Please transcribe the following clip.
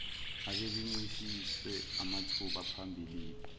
ababencishwe amathuba phambilini